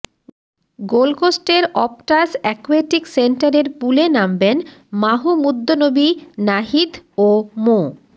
গোলকোস্টের Optus aquatic সেন্টারের পুলে নামবেন মাহমুদুন্নবী নাহিদ ও মো